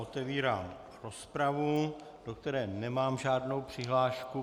Otevírám rozpravu, do které nemám žádnou přihlášku.